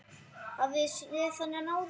Hafið þið séð þennan áður?